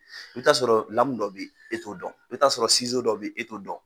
I bɛ ta sɔrɔ lamun dɔ bɛ e to dɔn, i bɛ t'a sɔrɔ sizo dɔ bɛ e to dɔn.